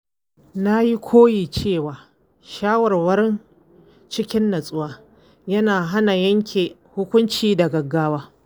Na koyi cewa yin shawarwari cikin natsuwa yana hana yanke hukunci da gaggawa.